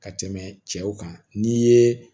Ka tɛmɛ cɛw kan n'i ye